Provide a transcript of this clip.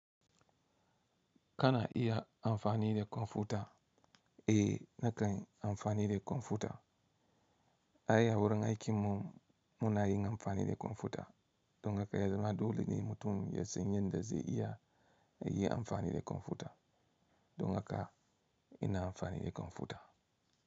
Kana iya amfani da kwamfuta? Eh, nakan yi amfani da kwamfuta. Ai awurin aikinmu muna yin amfani da kwamfuta. Don haka ya zama dole ne mutum ya san yadda zai iya yi amfani da kwamfuta. Don haka ina amfani da kwamfuta.